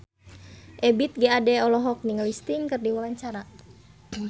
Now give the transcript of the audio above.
Ebith G. Ade olohok ningali Sting keur diwawancara